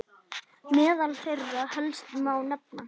Meðal þeirra helstu má nefna